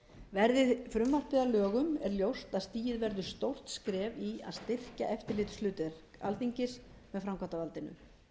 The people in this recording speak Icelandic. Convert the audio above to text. verði frumvarpið að lögum er ljóst að stigið verður stórt skref í að styrkja eftirlitsverk alþingis með framkvæmdarvaldinu